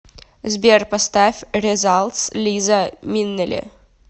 сбер поставь резалтс лиза минелли